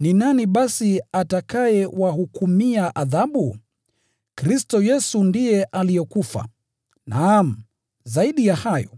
Ni nani basi atakayewahukumia adhabu? Kristo Yesu aliyekufa, naam, zaidi ya hayo,